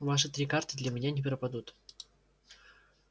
ваши три карты для меня не пропадут